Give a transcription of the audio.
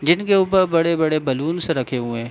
जिनके ऊपर बड़े बड़े बैलून्स रखे हुए हैं।